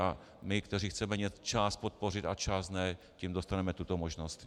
A my, kteří chceme část podpořit a část ne, tím dostaneme tuto možnost.